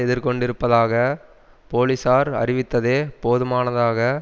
எதிர்கொண்டிருப்பதாக போலிசார் அறிவித்ததே போதுமானதாக